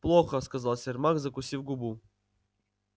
плохо сказал сермак закусив губу